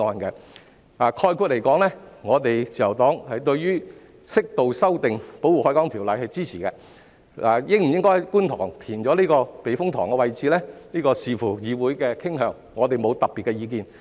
概括而言，自由黨對於適度修訂《條例》是支持的，而應否在觀塘避風塘位置填海則視乎議會的傾向，我們沒有特別的意見。